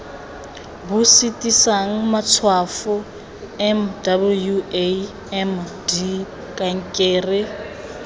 bo sitisang matshwafo mwamd kankere